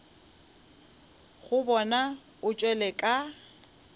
go bona o tšwele ka